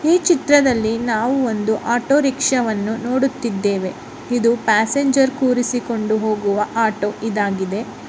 ಈ ಚಿತ್ರದಲ್ಲಿ ನಾವು ಒಂದು ಆಟೋ ರಿಕ್ಷಾ ವನ್ನು ನೋಡುತ್ತಿದ್ದೇವೆ ಇದು ಪ್ಯಾಸೆಂಜರ್ ಕೂಡಿಸಿಕೊಂಡು ಹೋಗುವ ಆಟೋ ಇದಾಗಿದೆ.